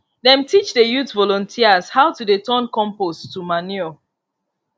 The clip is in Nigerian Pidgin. dem teach the youth volunteers how to dey turn compost to manure